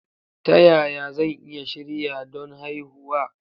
Ta yaya zan iya shirya don haihuwa?